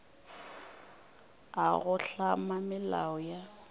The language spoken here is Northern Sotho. a go hlama melao ya